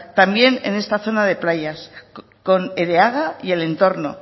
también en esta zona de playas con ereaga y el entorno